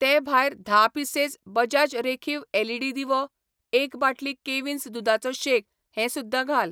ते भायर धा पिसेस बजाज रेखीव एलईडी दिवो, एक बाटली कॅव्हिन्स दुदाचो शेक हें सुध्दां घाल.